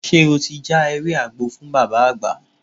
Ṣé o ti já ewé àgbo fún Bàbá Àgbà?